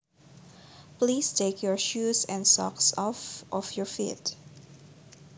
Please take your shoes and socks off of your feet